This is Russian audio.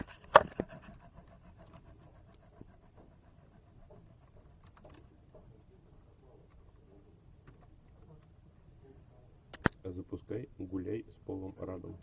запускай гуляй с полом раддом